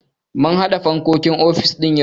Mun haɗa fankokin ofis yau.